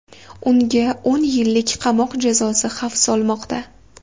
Unga o‘n yillik qamoq jazosi xavf solmoqda.